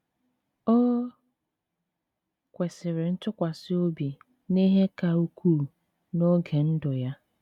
O kwesịrị ntụkwasị obi n’ihe ka ukwuu n’oge ndụ ya.